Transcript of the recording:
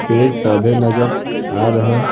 पेड़-पौधे नजर आ रहे--